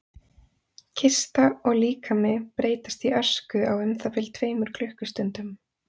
Kista og líkami breytast í ösku á um það bil tveimur klukkustundum.